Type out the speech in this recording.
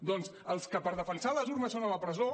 doncs els que per defensar les urnes són a la presó